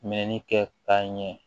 Mɛnni kɛta ɲɛ